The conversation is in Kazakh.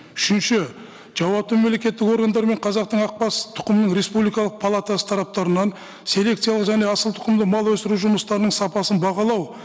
үшінші жауапты мемлекеттік органдар мен қазақтың ақбас тұқымын республикалық палатасы тараптарынан селекциялық және асылтұқымды мал өсіру жұмыстарының сапасын бағалау